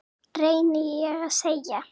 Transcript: reyni ég að segja.